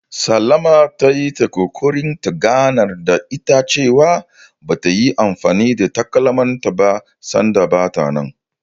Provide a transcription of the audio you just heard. Salama ta yi ta ƙoƙarin ta ganar da ita cewa, ba ta yi anfani da takalmanta ba sanda bata nan.